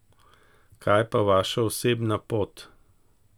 Kaj pa vaša osebna pot?